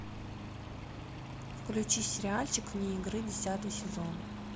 включи сериальчик вне игры десятый сезон